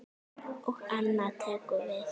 Og annað tekur við.